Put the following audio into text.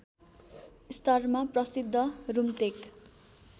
स्तरमा प्रसिद्ध रुम्तेक